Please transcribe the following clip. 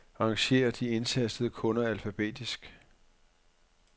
Arrangér de indtastede kunder alfabetisk.